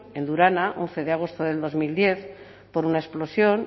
en durana once de agosto de dos mil diez por una explosión